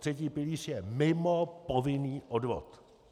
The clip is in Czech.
Třetí pilíř je mimo povinný odvod.